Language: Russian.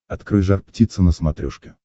открой жар птица на смотрешке